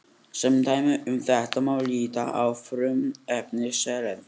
Sem dæmi um þetta má líta á frumefni selen.